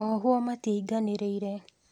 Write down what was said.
Ohwo matiainganĩrire